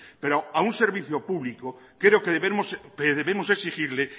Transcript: pero a un servicio público creo que debemos exigirle